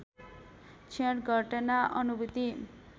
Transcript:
क्षण घटना अनुभूति